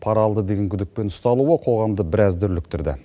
пара алды деген күдікпен ұсталуы қоғамды біраз дүрліктірді